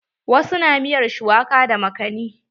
Wasu na miyar shuwaka da makani.